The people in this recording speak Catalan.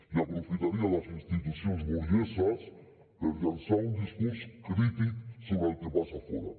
i aprofitaria les institucions burgeses per llançar un discurs crític sobre el que passa fora